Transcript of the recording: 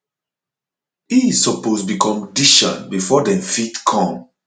e suppose be condition before dem fit come